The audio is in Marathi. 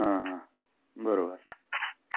हा हा बरोबर